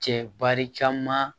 Cɛ bari caman